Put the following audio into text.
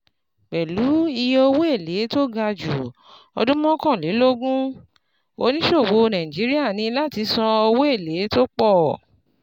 Pẹ̀lú iye owó èlé tó ga ju ọdún mọ́kànlélógún, oníṣòwò Nàìjíríà ní láti san owó èlé tó pọ̀.